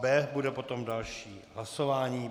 B bude potom další hlasování.